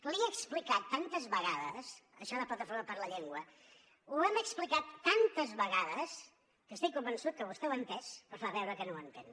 li he explicat tantes vegades això de plataforma per la llengua ho hem explicat tantes vegades que estic convençut que vostè ho ha entès però fa veure que no ho entén